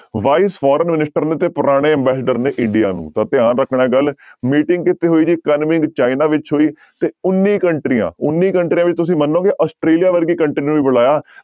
Vice foreign minister ਨੇ ਤੇ ਪੁਰਾਣੇ ambassador ਨੇ india ਨੂੰ ਤਾਂ ਧਿਆਨ ਰੱਖਣਾ ਇਹ ਗੱਲ meeting ਕਿੱਥੇ ਹੋਈ ਜੀ ਕਨਮਿੰਗ ਚਾਈਨਾ ਵਿੱਚ ਹੋਈ ਤੇ ਉੱਨੀ ਕੰਟਰੀਆਂ ਉੱਨੀ ਕੰਟਰੀਆਂ ਵਿੱਚ ਤੁਸੀਂ ਮੰਨੋਗੇ ਆਸਟ੍ਰੇਲੀਆ ਵਰਗੀ country ਨੂੰ ਵੀ ਬੁਲਾਇਆ।